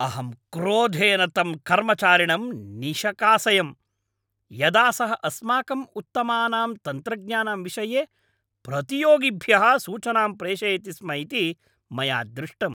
अहं क्रोधेन तं कर्मचारिणं निषकासयम्, यदा सः अस्माकम् उत्तमानां तन्त्रज्ञानां विषये प्रतियोगिभ्यः सूचनां प्रेषयति स्म इति मया दृष्टम्।